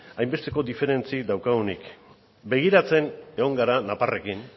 hainbesteko diferentzi daukagunik begiratzen egon gara nafarrekin